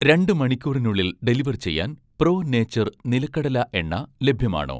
രണ്ട് മണിക്കൂറിനുള്ളിൽ ഡെലിവർ ചെയ്യാൻ 'പ്രോ നേച്ചർ' നിലക്കടല എണ്ണ ലഭ്യമാണോ